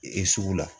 Ee sugu la